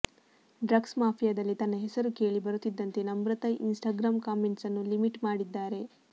drugs ಮಾಫಿಯಾದಲ್ಲಿ ತನ್ನ ಹೆಸರು ಕೇಳಿ ಬರುತ್ತಿದ್ದಂತೆ ನಮ್ರತಾ ಇನ್ಸ್ಟಾಗ್ರಾಮ್ ಕಾಮೆಂಟ್ಸ್ ಅನ್ನು ಲಿಮಿಟ್ ಮಾಡಿದ್ದಾರೆ